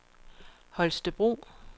Holstebro